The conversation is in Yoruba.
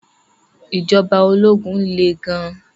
Ìjọba ológun le gan-an.